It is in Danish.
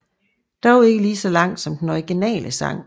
Dog ikke lige så lang som den originale sang